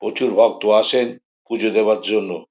প্রচুর ভক্ত আসেন পুজো দেবার জন্য।